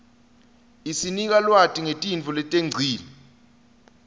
isinika lwati ngetintfo letengcile